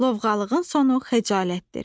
Lovğalığın sonu xəcalətdir.